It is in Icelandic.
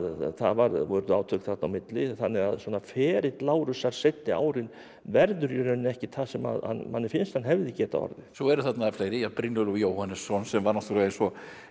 það urðu átök þarna á milli þannig að ferill Lárusar seinni árin verður í rauninni ekkert það sem manni finnst að hann hefði getað orðið svo eru þarna fleiri Brynjólfur Jóhannesson sem var náttúrulega eins og